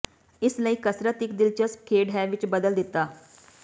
ਇਸ ਲਈ ਕਸਰਤ ਇੱਕ ਦਿਲਚਸਪ ਖੇਡ ਹੈ ਵਿੱਚ ਬਦਲ ਦਿੱਤਾ